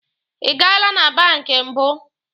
Ị gaala na banki mbụ?